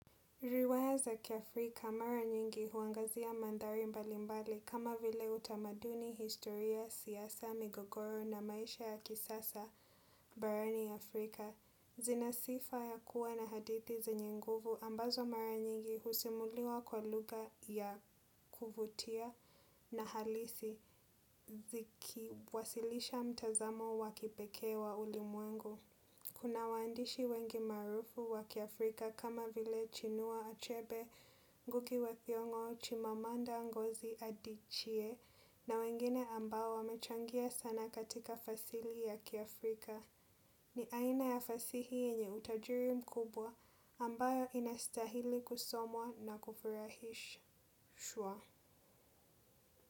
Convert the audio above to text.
Riwaya za ki Afrika mara nyingi huangazia mandhari mbali mbali kama vile utamaduni historia, siasa, migogoro na maisha ya kisasa barani Afrika. Zina sifa ya kuwa na hadithi zenye nguvu ambazo mara nyingi husimuliwa kwa lugha ya kuvutia na halisi ziki wasilisha mtazamo wakipekee wa ulimwengu. Kuna waandishi wengi maarufu wa Kiafrika kama vile chinua achebe, nguki wa thiongo, chimamanda ngozi adichie na wengine ambao wamechangia sana katika fasili ya kiafrika. Ni aina ya fasihi yenye utajiri mkubwa ambayo inasitahili kusomwa na kufurahishwa.